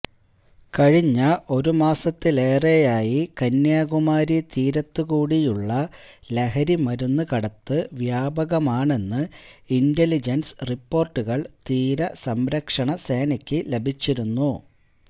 കഴിഞ്ഞ ഒരു മാസത്തിലേറെയായി കന്യാകുമാരി തീരത്ത് കൂടിയുള്ള ലഹരിമരുന്ന് കടത്ത് വ്യാപകമാണെന്ന് ഇന്റലിജന്സ് റിപ്പോര്ട്ടുകള് തീരസംരക്ഷണ സേനയ്ക്ക് ലഭിച്ചിരുന്നു